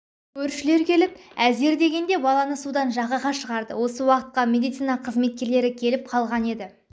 көршілер келіп әзер дегенде баланы судан жағаға шығарды осы уақытқа медицина қызметкерлері келіп қалған еді